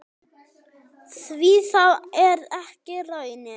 Því það er ekki raunin.